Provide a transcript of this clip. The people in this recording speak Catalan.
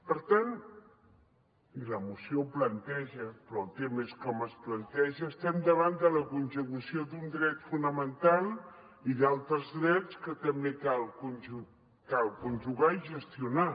per tant i la moció ho planteja però el tema és com es planteja estem davant de la conjugació d’un dret fonamental i d’altres drets que també cal conjugar i gestionar